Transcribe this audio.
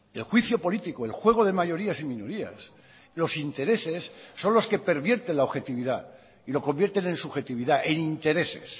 el juicio político el juego de mayorías y minorías los intereses son los que pervierten la objetividad y lo convierten en subjetividad en intereses